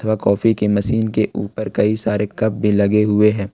Coffee की machine के ऊपर कई सारे कप भी लगे हुए है।